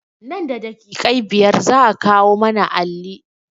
Nan da daƙiƙai biyar za a kawo mana alli